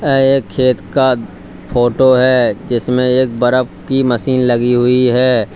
यह एक खेत का फोटो है जिसमें एक बर्फ की मशीन लगी हुई है।